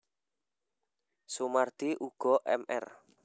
Soemardi uga Mr